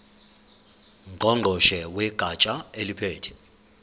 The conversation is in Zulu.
ngqongqoshe wegatsha eliphethe